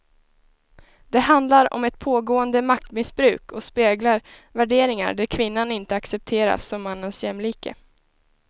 Det handlar om ett pågående maktmissbruk och speglar värderingar där kvinnan inte accepteras som mannens jämlike.